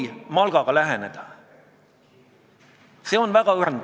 Kuna ma eelnõu algatajate esindajalt ei saanud kahjuks vastust oma küsimusele, siis ma küsin teie käest.